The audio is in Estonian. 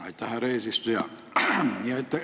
Aitäh, härra eesistuja!